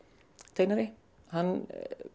teiknari hann